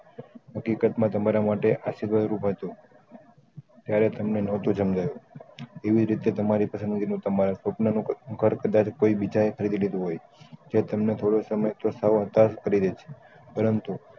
હકીકત માં તમારા માટે આ ત્યારેં તમને નતું શામ્જાયું એવી રીતે તમારી family નું તમારા સ્વપ્ન નું ઘર કોઈ બીજા એ ખરીધી લીધું હોય જે તમને થોડો સમય પડી રેહ ર્છે પરંતુ